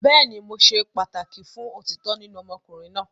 Bẹẹni, Mo ṣe pataki fun otitọ ninu ọmọkunrin naa